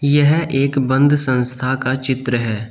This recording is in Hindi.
यह एक बंद संस्था का चित्र है।